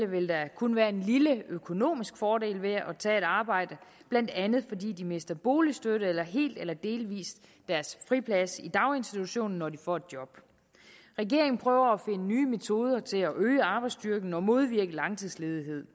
vil der kun være en lille økonomisk fordel ved at tage et arbejde blandt andet fordi de mister boligstøtte eller helt eller delvis deres friplads i daginstitutionen når de får et job regeringen prøver at finde nye metoder til at øge arbejdsstyrken og modvirke langtidsledighed